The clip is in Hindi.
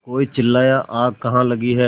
कोई चिल्लाया आग कहाँ लगी है